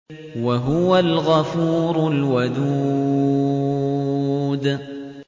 وَهُوَ الْغَفُورُ الْوَدُودُ